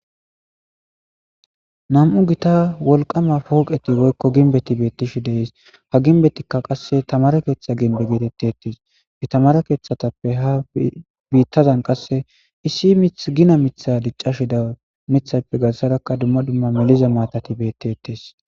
nam7u gita wolqama pooqeti woykko ginbeti beettishi deys ha ginbetikka qasse tamare keeththa ginbe geetettetes itamare keeththatappe ha biittazan qasse issi mithgina mitha diccashida mithappe gassadakka dumma dumma miliza maatati bettetes